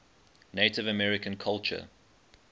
native american culture